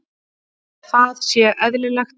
Það sé eðlilegt.